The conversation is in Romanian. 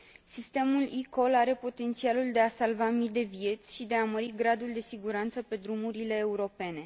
Sistemul eCall are potențialul de a salva mii de vieți și de a mări gradul de siguranță pe drumurile europene.